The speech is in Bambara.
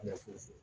Ne fu